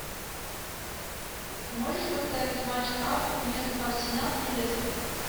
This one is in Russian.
можешь поставить матч апл между арсенал и лестер